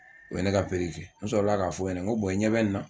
O ye ne ka pikiri kɛ, n sɔrɔ la k'a f'o ɲɛna n ko i ɲɛ bɛ nin na ?